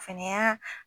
Fɛnɛ y'a